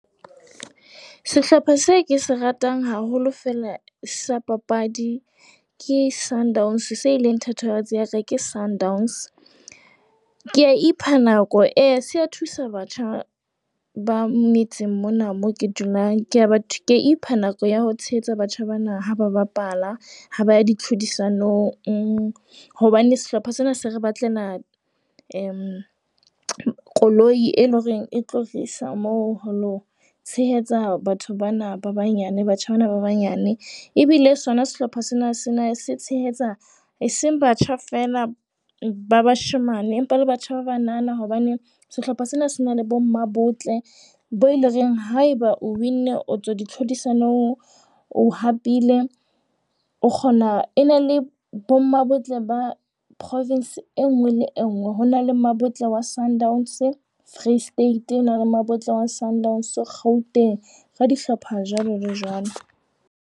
Sehlopha se ke se ratang haholo fela sa papadi ke Sundowns, se leng thatohatsi ya ka ke Sundowns. Ke a ipha nako e se a thusa batjha ba metseng mona moo ke dulang. Ke a batho ke ipha nako ya ho tshehetsa batjha bana ha ba bapala, ha ba di tlhodisanong. Hobane sehlopha sena se re batlela eh koloi e leng hore e tlo tlisa moo ho lo tshehetsa batho bana ba banyane, batjha bana ba banyane. Ebile sona sehlopha sena sena se tshehetsa e seng batjha fela ba bashemane empa le batjha ba banana hobane sehlopha sena se na le bommabotle bo le reng haeba o winne o tswa ditlhodisano. O hapile o kgona, e na le bommabotle ba province e nngwe le e nngwe. Ho na le mmabotle wa Sundowns Free State, ho na le mmabotle wa Sundowns Gauteng. Ka dihlopha jwalo le jwalo.